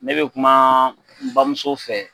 Ne bɛ kuma n bamuso fɛ